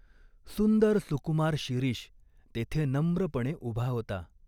सुंदर सुकुमार शिरीष तेथे नम्रपणे उभा होता.